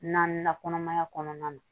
Naaninan kɔnɔmaya kɔnɔna na